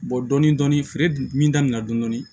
Bɔ dɔɔnin dɔɔnin feere dun min daminɛ na dɔni